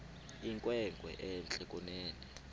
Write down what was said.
inkwenkwe entle kunene